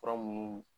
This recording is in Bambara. Fura munnu